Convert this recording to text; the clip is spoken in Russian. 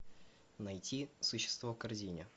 найти существо в корзине